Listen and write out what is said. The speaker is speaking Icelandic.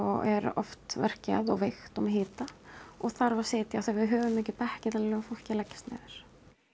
er veikt og með hita og þarf að sitja af því við höfum ekki bekki til að láta fólk leggjast niður